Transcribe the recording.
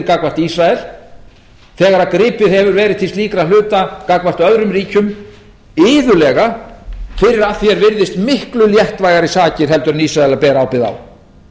gagnvart ísrael þegar gripið hefur verið til slíkra hluta gagnvart öðrum ríkjum iðulega fyrir að því er virðist miklu léttvægari sakir en ísraelar bera ábyrgð á